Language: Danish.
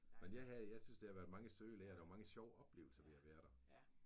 Men jeg havde jeg synes det var mange søde lærere. Der var mange sjove oplevelser ved at være der